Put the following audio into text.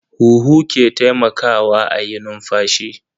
Huhu ke taimakawa a yi numfashi.